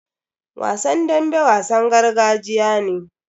Wasan dambe wasan gargajiya ne.